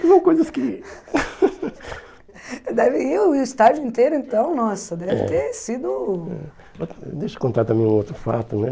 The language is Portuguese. São coisas que... Deve ir o estádio inteiro, então, nossa, é, deve ter sido... Deixa eu contar também um outro fato, né?